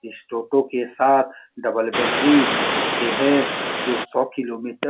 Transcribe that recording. इस टोटो के साथ डबल बैटरी मिलते हैं जो सौ किलोमीटर --